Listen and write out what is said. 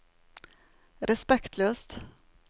respektløst